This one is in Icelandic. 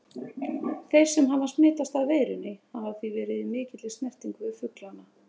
Þeir sem hafa smitast af veirunni hafa því verið í mikilli snertingu við fuglana.